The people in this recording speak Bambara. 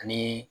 Ani